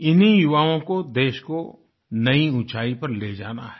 इन्हीं युवाओं को देश को नई ऊँचाई पर ले जाना है